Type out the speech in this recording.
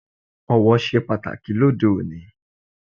Ọ̀wọ̀ ṣe pàtàkì lóde òní